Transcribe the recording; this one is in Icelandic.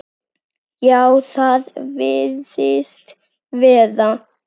Já, það virðist vera.